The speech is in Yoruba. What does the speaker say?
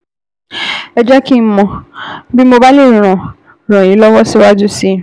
Ẹ jẹ́ kí n mọ̀ bí mo bá lè ràn ràn yín lọ́wọ́ síwájú sí i